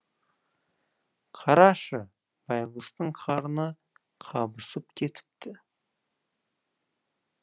қарашы байғұстың қарны қабысып кетіпті